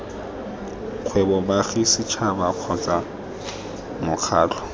kgwebo baagi setšhaba kgotsa mokgatlho